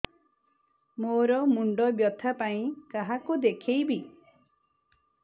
ମୋର ମୁଣ୍ଡ ବ୍ୟଥା ପାଇଁ କାହାକୁ ଦେଖେଇବି